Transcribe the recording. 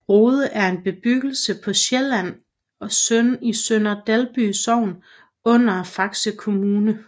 Rode er en bebyggelse på Sydsjælland i Sønder Dalby Sogn under Faxe Kommune